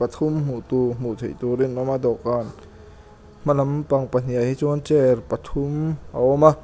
pathum hmuh tur hmuh theih turin a awm a dawhkan hmalam pang pahnihah hi chuan chair pathum a awm a.